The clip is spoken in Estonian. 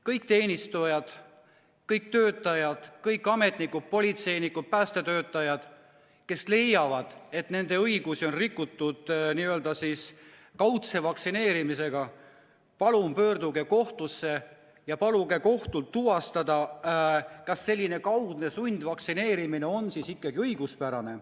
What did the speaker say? Kõik teenistujad, kõik töötajad, kõik ametnikud, politseinikud, päästetöötajad, kes leiavad, et nende õigusi on kaudselt nõutava vaktsineerimisega rikutud, palun pöörduge kohtusse ja paluge kohtul tuvastada, kas selline vaktsineerimine on ikkagi õiguspärane.